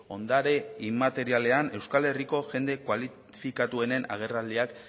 ondare inmaterialean euskal herriko jende kualifikatuenen agerraldiak